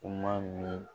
Kuma min